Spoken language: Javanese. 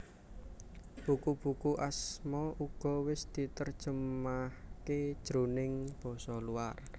Buku buku Asma uga wis diterjemahke jroning basa luar